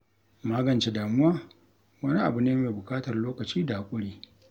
Magance damuwa wani abu ne mai buƙatar lokaci da haƙuri.